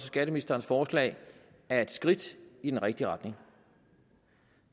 skatteministerens forslag er et skridt i den rigtige retning